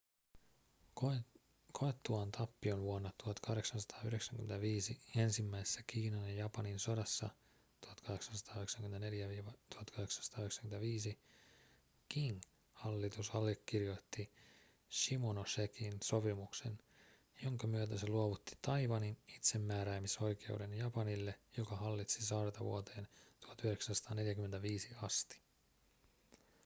koettuaan tappion vuonna 1895 ensimmäisessä kiinan ja japanin sodassa 1894-1895 qing-hallitus allekirjoitti shimonosekin sopimuksen jonka myötä se luovutti taiwanin itsemääräämisoikeuden japanille joka hallitsi saarta vuoteen 1945 asti